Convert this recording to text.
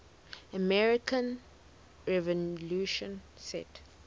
american revolution set